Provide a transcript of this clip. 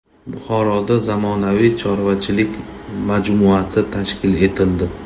Buxoroda zamonaviy chorvachilik majmuasi tashkil etildi.